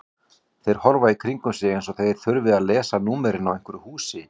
Þeir horfa í kringum sig eins og þeir þurfi að lesa númerin á hverju húsi.